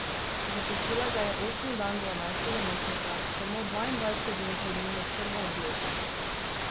Zapustila ga je osmi dan dvanajstega meseca, samo dvaindvajset dni pred njuno prvo obletnico.